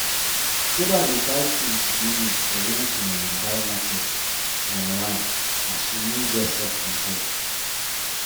sarah dey buy tins she no need for when she um buy market um online as she no get self control.